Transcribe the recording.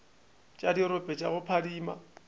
tša dirope tša go phadima